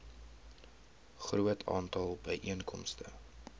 groot aantal byeenkomste